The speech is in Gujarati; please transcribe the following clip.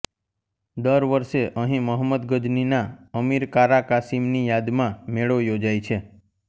દર વર્ષે અહીં મહંમદ ગઝનીના અમીર કારા કાસીમની યાદમાં મેળો યોજાય છે